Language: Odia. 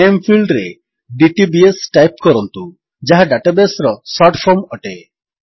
ନାମେ ଫିଲ୍ଡରେ ଡିଟିବିଏସ୍ ଟାଇପ୍ କରନ୍ତୁ ଯାହା ଡାଟାବେସ୍ ର ଶର୍ଟଫର୍ମ ଅଟେ